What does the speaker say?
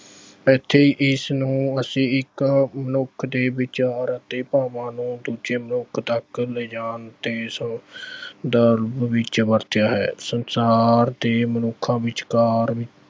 ਇੱਥੇ ਇਸ ਨੂੰ ਅਸੀਂ ਇੱਕ ਮਨੁੱਖ ਦੇ ਵਿਚਾਰ ਅਤੇ ਭਾਵਾਂ ਨੂੰ ਦੂਜੇ ਮਨੁੱਖ ਤੱਕ ਲਿਜਾਣ ਤੇ ਸ ਅਹ ਵਿੱਚ ਵਰਤਿਆ ਹੈ ਸੰਸਾਰ ਦੇ ਮਨੁੱਖਾਂ ਵਿਚਕਾਰ